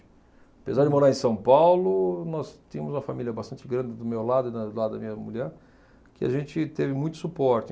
Apesar de morar em São Paulo, nós tínhamos uma família bastante grande do meu lado e da, do lado da minha mulher, que a gente teve muito suporte.